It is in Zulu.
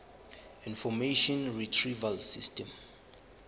information retrieval system